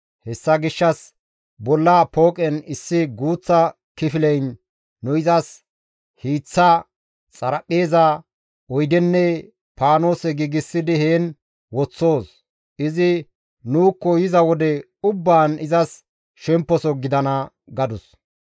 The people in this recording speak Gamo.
Hessa gishshas bolla pooqen issi guuththa kifileyn nu izas hiiththa, xaraphpheeza, oydenne paanose giigsidi heen woththoos; izi nuukko yiza wode ubbaan izas shemposo gidana» gadus.